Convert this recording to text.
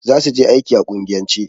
Za su je aiki a kungiyance.